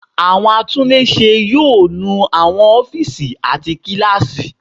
Àwọn atúnlé ṣe yóò nu àwọn ófíìsì àti àwọn kíláàsì.